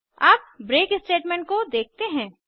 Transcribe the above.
अब break statement को देखते हैं